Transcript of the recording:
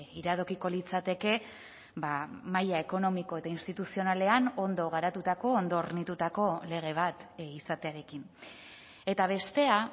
iradokiko litzateke maila ekonomiko eta instituzionalean ondo garatutako ondo hornitutako lege bat izatearekin eta bestea